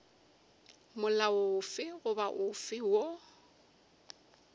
molao ofe goba ofe woo